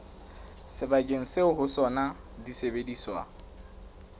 sebakeng seo ho sona disebediswa